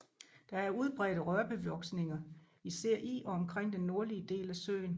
Der er udbredte rørbevoksninger især i og omkring den nordlige del af søen